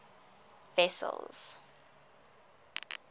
wessels